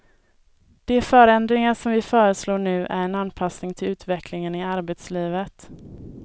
De förändringar vi föreslår nu är en anpassning till utvecklingen i arbetslivet.